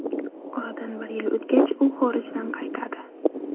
Oradan bir yil o‘tgach, u xorijdan qaytadi.